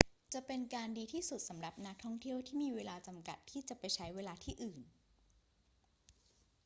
จะเป็นการดีที่สุดสำหรับนักท่องเที่ยวที่มีเวลาจำกัดที่จะไปใช้เวลาที่อื่น